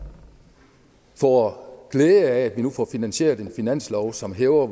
får glæde af at vi nu får finansieret en finanslov som hæver